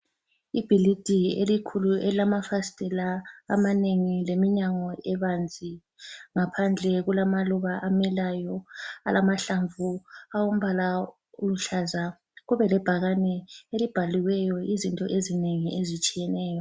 Ibhilidi elikhulu elilamafasitela amanengi leminyango ebanzi ngaphandle kulamaluba amilayo amahlamvu awombala oluhlaza kube lebhakani elibhaliweyo izinto ezinengi ezitshiyeneyo.